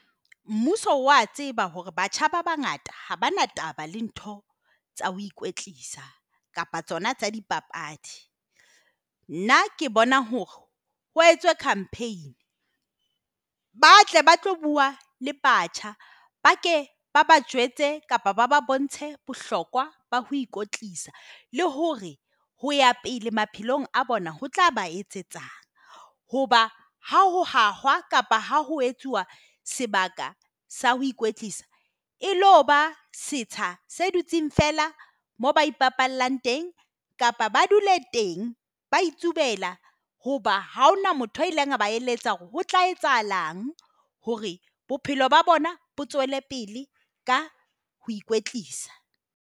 Mmuso wa tseba hore batjha ba bangata ha bana taba le ntho tsa ho ikwetlisa kapa tsona tsa dipapadi. Nna ke bona hore ho etswe campaign, ba tle ba tlo bua le batjha, ba ke ba ba jwetse kapa ba ba bontshe bohlokwa ba ho kotlisa le hore hoea pele maphelong a bona ho tlaba etsetsa hoba ha ho hahuwa kapa ho etsuwa sebaka sa ho ikwetlisa e lo ba seeta se dutse feela moo ba teng, kapa ba dula teng, ba itulela hoba haona motho a ileng ba eletsa hore ho tla etsahalang hore bophelo ba bona bo tswele pele ka ho ikwetlisa.